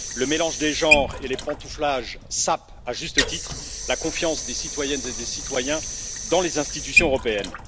Le mélange des genres et les pantouflages sapent, à juste titre, la confiance des citoyennes et des citoyens dans les institutions européennes.